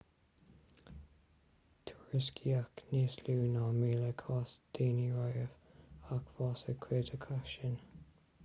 tuairiscíodh níos lú ná míle cás daonna riamh ach bhásaigh cuid acu sin